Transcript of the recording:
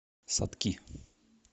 сатки